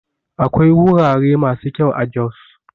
Akwai wurare masu kyau a Jos